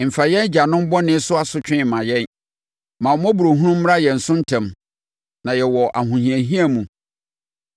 Mfa yɛn agyanom bɔne so asotwe mma yɛn; ma wo mmɔborɔhunu mmra yɛn so ntɛm, na yɛwɔ ahohiahia mu.